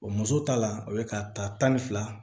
O muso ta la o ye ka ta tan ni fila